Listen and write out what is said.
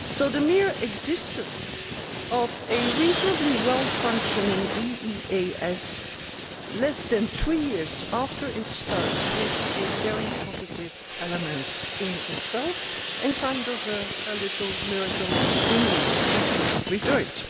The mere existence of a reasonably well functioning EEAS less than three years after it started is a very positive element in itself and a kind of little miracle in which we should rejoice.